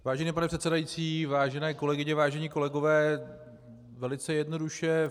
Vážený pane předsedající, vážené kolegyně, vážení kolegové, velice jednoduše.